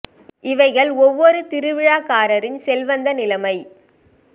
இவைகள் ஒவ்வொரு திருவிழாக்காரரின் செல்வந்த நிலமைமை